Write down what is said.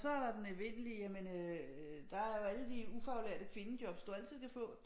Så er der den evindelige jamen øh der er jo alle de ufaglærte kvindejobs du altid kan få du kan altid få